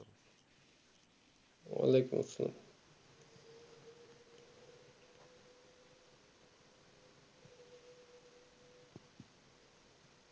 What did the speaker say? ওয়াআলাইকুম আসসালাম।